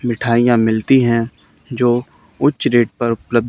मिठाइयां मिलती है जो उच्च रेट पर उपलब्ध।